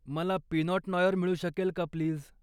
मला pinot noir मिळू शकेल का, प्लीज.